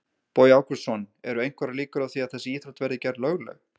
Bogi Ágústsson: Eru einhverjar líkur á því að þessi íþrótt verði gerð lögleg?